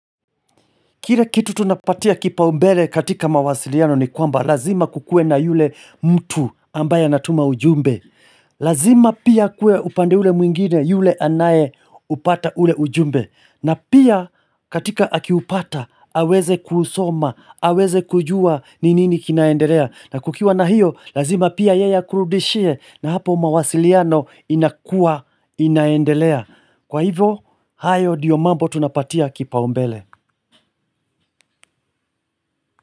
Kile kitu tunapatia kipaumbele katika mawasiliano ni kwamba lazima kukue na yule mtu ambaye anatuma ujumbe. Lazima pia kuwe upande ule mwingine yule anaye upata ule ujumbe. Na pia katika akiupata aweze kusoma, aweze kujua ni nini kinaendelea. Na kukiwa na hiyo lazima pia yeye akurudishie na hapo mawasiliano inakua inaendelea. Kwa hivo, hayo ndiyo mambo tunapatia kipaumbele.